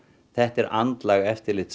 þetta er andlag eftirlits